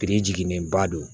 Biri jiginnen ba don